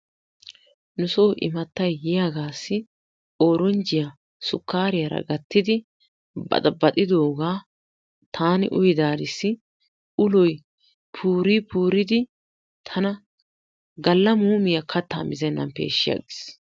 Nusoo immatay yiyaagaassi ooranjjiya sukkaariyara gattidi baxaabaxxidoogaa taani uyidaarissi uloy puurii puuridi tana galla muumiya kaattaa mizennan peeshshi aggiis.